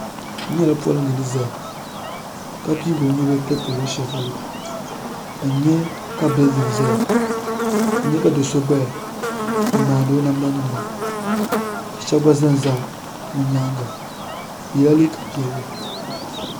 N nyɛla polinga ni zaya ka piigi o nubila tiri ti luɣushɛli polo ka n nyɛ ka bildin zaya ka n nya ka doo so gbaya n maani o namda niŋda ka shɛba gba zan za bi nyaanga o yɛla liiga piɛlli.